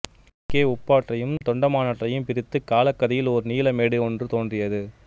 கிழக்கே உப்பாற்றையும் தொண்டமானற்றயும் பிரித்து காலகதியில் ஓர் நிலமேடு ஒன்று தோன்றியது